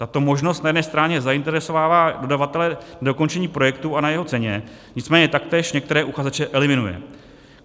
Tato možnost na jedné straně zainteresovává dodavatele k dokončení projektu a na jeho ceně, nicméně taktéž některé uchazeče eliminuje.